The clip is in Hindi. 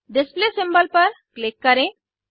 डिस्प्ले सिम्बोल पर क्लिक करें